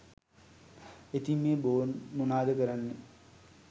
ඉතින් මේ බොන්ඩ් මොනාද කරන්නේ